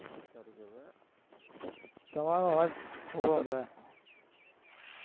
તમારો અવાજ